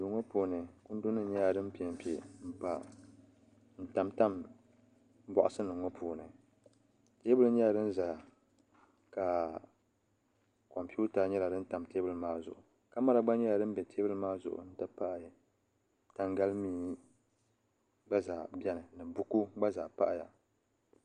duu ŋɔ puuni kundi nim nyɛla din piɛ n piɛ n tam tam boksi nim ŋɔ puuni teebulu nyɛla din ʒɛya ka kompiuta nyɛla din tam teebuli maa zuɣu kamɛra gba nyɛla din bɛ teebuli maa zuɣu n ti pahi tangali mihi gba zaa biɛni buku nim gba zaa pahaya